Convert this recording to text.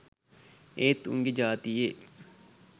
ඒත් උන්ගෙ ජාතියේ.